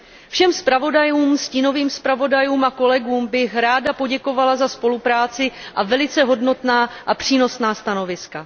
Všem zpravodajům, stínovým zpravodajům a kolegům bych ráda poděkovala za spolupráci a velice hodnotná a přínosná stanoviska.